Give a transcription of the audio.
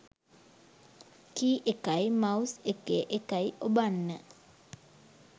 කී එකයි මවුස් එකේ එකයි ඔබන්න.